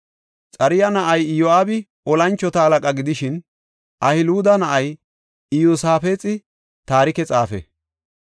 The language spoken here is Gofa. Xaruya na7ay Iyo7aabi tora mocona gidishin, Ahiluda na7ay Iyosaafexi taarike xaafe.